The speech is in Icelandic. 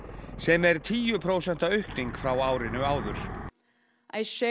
sem er tíu prósenta aukning frá árinu áður